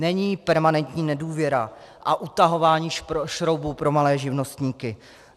Není permanentní nedůvěra a utahování šroubů pro malé živnostníky.